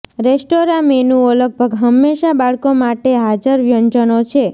restaurant મેનુઓ લગભગ હંમેશા બાળકો માટે હાજર વ્યંજનો છે